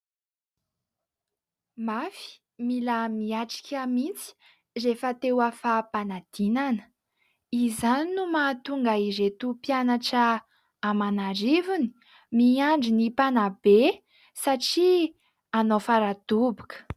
Mafy, mila miatrika mihitsy rehefa te ho afa-panadinana; izany no mahatonga ireto mpianatra aman'arivony miandry ny mpanabe satria hanao faradoboka.